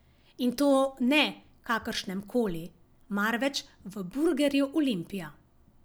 In to ne kakršnemkoli, marveč v burgerju Olimpija.